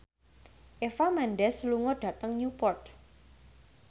Eva Mendes lunga dhateng Newport